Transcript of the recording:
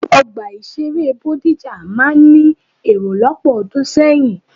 Ọgbà ìṣeré Bódìjà máa ń ní èrò lọ́pọ̀ ọdún sẹ́yìn.